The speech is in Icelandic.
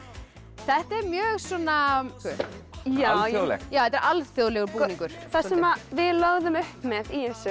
þetta er mjög svona alþjóðlegt já þetta er alþjóðlegur búningur það sem við lögðum upp með í þessu